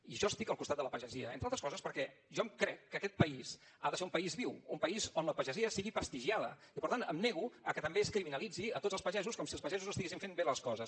i jo estic al costat de la pagesia entre altres coses perquè jo em crec que aquest país ha de ser un país viu un país on la pagesia sigui prestigiada i per tant em nego a que també es criminalitzin tots els pagesos com si els pagesos no estiguessin fent bé les coses